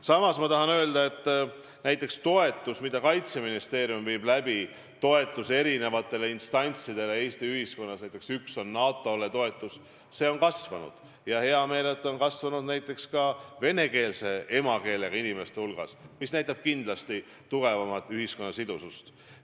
Samas tahan öelda eri instantside toetamise kohta Eesti ühiskonnas, mida Kaitseministeerium jälgib, näiteks NATO toetamise kohta, et see on kasvanud ja on hea meel, et see on kasvanud näiteks ka vene emakeelega inimeste hulgas, mis näitab kindlasti ühiskonna tugevamat sidusust.